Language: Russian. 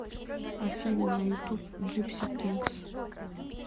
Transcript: афина на ютуб джипси кингс